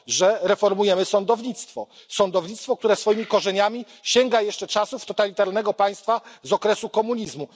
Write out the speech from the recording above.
Że reformujemy sądownictwo sądownictwo, które swoimi korzeniami sięga jeszcze czasów totalitarnego państwa z okresu komunizmu.